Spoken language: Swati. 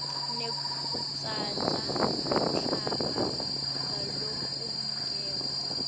nekutsatsa umhlaba ngalokungekho